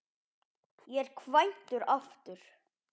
Ég er kvæntur aftur.